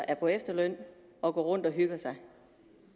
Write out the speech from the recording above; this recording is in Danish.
er på efterløn og går rundt og hygger sig